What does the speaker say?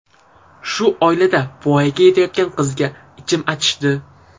Shu oilada voyaga yetayotgan qizga ichim achishdi.